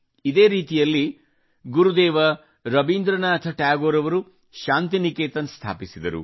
ಇದೇ ರೀತಿಯಲ್ಲಿ ಗುರುದೇವ ರವೀಂದ್ರನಾಥ್ ಠಾಗೂರ್ ಅವರು ಶಾಂತಿ ನಿಕೇತನ್ ಸ್ಥಾಪಿಸಿದರು